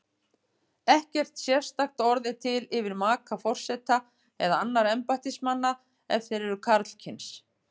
Ekkert sérstakt orð er til yfir maka forseta eða annarra embættismanna ef þeir eru karlkyns.